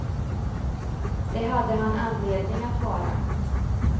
Det hade han anledning att vara.